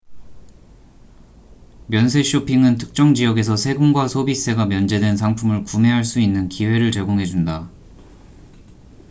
면세 쇼핑은 특정 지역에서 세금과 소비세가 면제된 상품을 구매할 수 있는 기회를 제공해 준다